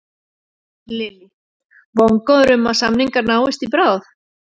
Lillý: Vongóður um að samningar náist í bráð?